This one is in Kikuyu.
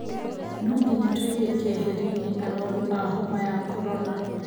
Nonginya tuige keherine arwaru a homa ya korona